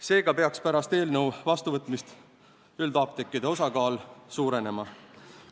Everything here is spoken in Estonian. Seega peaks pärast eelnõu vastuvõtmist üldapteekide osakaal suurenema.